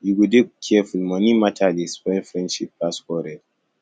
you go dey careful money mata dey spoil friendship pass quarrel